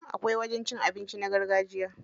Akwai wajen cin abinci na gargajiya.